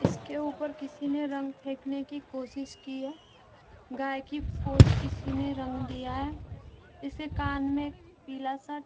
इसके उपर किसी ने रंग फेकने की कोशिश की है गाय की पूंछ किसी ने रंग दिया है इसके कान में पीला सा --